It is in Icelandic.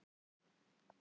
er hægt að vera tvíkynja